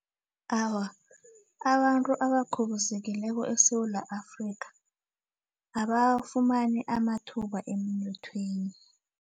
Awa, abantu abakhubazekileko eSewula Afrika abafumani amathuba emnothweni.